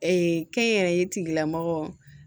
kɛnyɛrɛye tigilamɔgɔ